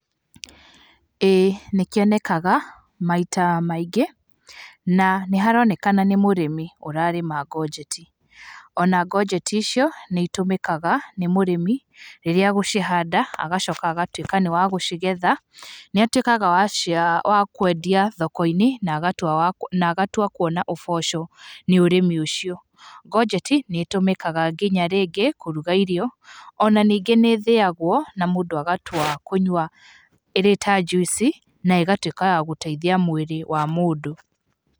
Ĩĩ nĩ kĩonekaga maita maingĩ na nĩ haronekana nĩ mũrĩmi ũrarĩma ngonjeti, ona ngonjeti icio nĩ itũmĩkaga nĩ mũrĩmi rĩrĩa agũcihanda agacoka agũtuĩka nĩ wa gũcigetha. Nĩ atuĩkaga wa kwendia thoko-inĩ na agatua kuona ũboco nĩ ũrĩmi ũcio. Ngonjeti nĩ ĩtũmĩkĩga nginya rĩngĩ kũruga irio, ona ningĩ nĩ ĩthĩagwo na mũndũ agatua kũnyua ĩrĩ ta juici na ĩgatuĩka ya kũteithia mwĩrĩ wa mũndũ